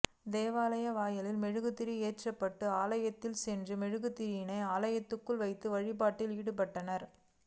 தேவாலய வாயிலில் மெழுகுதிரி ஏற்றப்பட்டு ஆலயத்தினுள் சென்று மெழுகுதிரியினை ஆலயத்தினுள் வைத்து வழிபாட்டில் ஈடுபட்டனர்